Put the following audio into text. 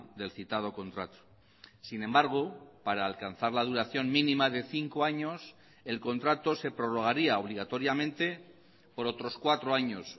del citado contrato sin embargo para alcanzar la duración mínima de cinco años el contrato se prorrogaría obligatoriamente por otros cuatro años